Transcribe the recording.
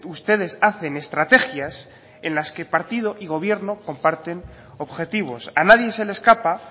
ustedes hacen estrategias en las que partido y gobierno comparten objetivos a nadie se le escapa